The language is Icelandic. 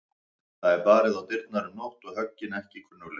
Það er barið á dyrnar um nótt og höggin ekki kunnugleg.